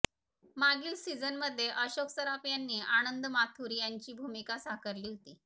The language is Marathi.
मागील सिझनमध्ये अशोक सराफ यांनी आनंद माथूर यांची भूमिका साकारली होती